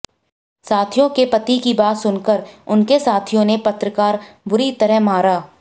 विधायक के पति की बात सुनकर उनके साथियों ने पत्रकार बुरी तरह मारा